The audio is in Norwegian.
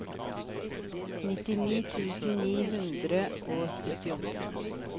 nittini tusen ni hundre og syttiåtte